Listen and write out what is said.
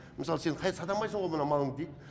мысалы сен сатамайсынғо мына малыңды дейді